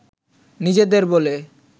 নিজেদের বলে